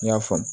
N y'a faamu